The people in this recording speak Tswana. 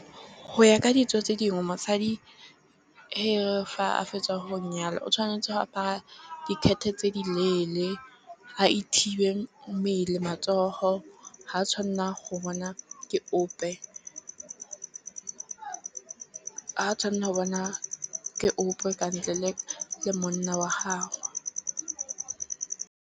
Go ya ka ditso tse dingwe mosadi e fa a fetsa go nyala o tshwanetse go apara di-skirt tse di leele. A thibe mmele, matsogo ga a tshwanela go bonwa ke ope ka ntle le monna wa gagwe.